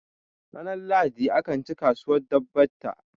ranar lahadi akan ci kasuwar dabbata